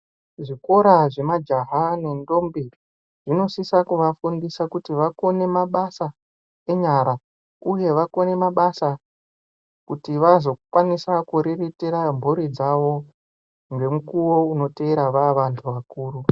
Zvikora zvemajaha nendombi zvinosisa kuvafundisa kuti vakone mabasa enyara uye vakone mabasa kuti vazokwanisa kuzoriritira mburi dzawo, ngemukuwo unoteera vaa vantu vakuru.